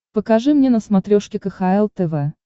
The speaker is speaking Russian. покажи мне на смотрешке кхл тв